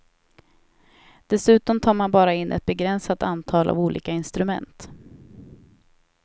Dessutom tar man bara in ett begränsat antal av olika instrument.